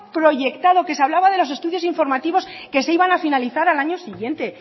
proyectado que se hablaba de los estudios informativos que se iban a finalizar al año siguiente